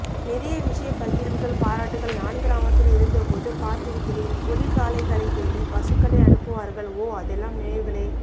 நிறைய விஷயப் பகிர்வுகள் பாராட்டுகள் நான்கிராமத்தில் இருந்த போது பார்த்திருக்கிறேன்பொலிகாளைகளைத்தேடி பசுக்களை அனுப்புவார்கள் ஓ அதெல்லாம் நினைவுகளே